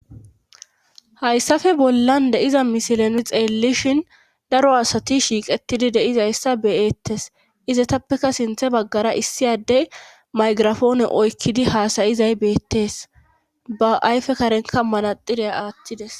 Hayssafe bollan de7iza misilen xeellishin daro asati shiiqetidi de7izayssa beyettes izatappeka sinthe baggara issiyadey maygirafoone oykkidi haasayizay beettees ba ayfe karenka manaxxire aattides.